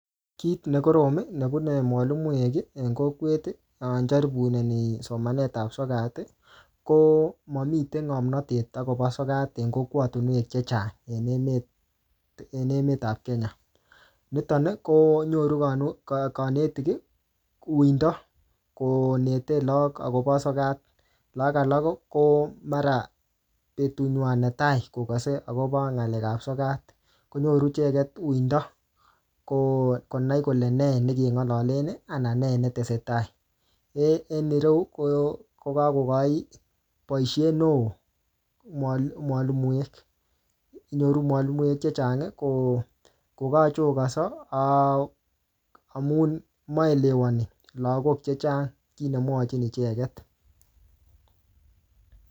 Kit ne korom, nebune mwalimuek, en kokwet ne jaripuneni somanet ap sokat, ko mamite ngomnotet akobo sokat en kokwatunwek chechang en emet-en emt ap Kenya. Nitoni, konyoru kane-kanetik uindo konete lagok akobo sokat. Lagok alak, ko mara betut nywaa ne tai kokase akobo ng'alek ap sokat. Konyoru icheket uindo, ko konai kole ne ne kengalalen anan nee netesetai. En ireu, ko-kokakokochi boisiet neoo mwali-mwalimuek. Nyoru mwalimuek chechang ko-kokakochokanso amun maelewani lagok chechang kiy ne mwachin icheket